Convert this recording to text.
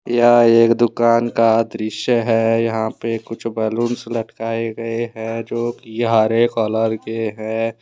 यह एक दुकान का दृश्य है यहां पे कुछ बलूंस लटकाए गए हैं जो कि हरे कलर के हैं।